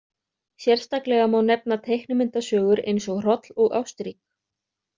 Sérstaklega má nefna teiknimyndasögur eins og Hroll og Ástrík.